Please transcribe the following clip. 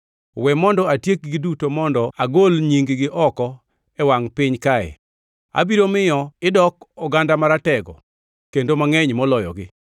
We mondo atiekgi duto mondo agol nying-gi oko e wangʼ piny kae. Abiro miyo idok oganda maratego kendo mangʼeny moloyogi.”